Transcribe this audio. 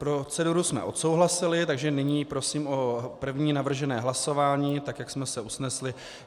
Proceduru jsme odsouhlasili, takže nyní prosím o první navržené hlasování, tak jak jsme se usnesli.